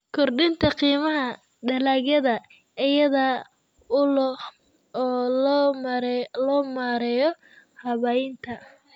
Kordhinta qiimaha dalagyada iyada oo loo marayo habaynta.